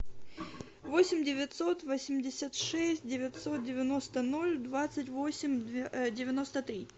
восемь девятьсот восемьдесят шесть девятьсот девяносто ноль двадцать восемь девяносто три